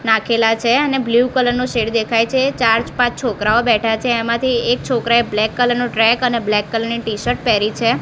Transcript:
નાખેલા છે અને બ્લુ કલર નો શેડ દેખાય છે ચાર પાંચ છોકરાઓ બેઠા છે એમાથી એક છોકરાએ બ્લેક કલર નુ ટ્રેક અને બ્લેક કલર ની ટીશર્ટ પેહરી છે.